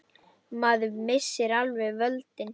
Maður missir alveg völdin.